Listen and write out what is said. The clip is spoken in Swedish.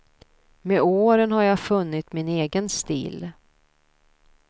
Med åren har jag funnit min egen stil.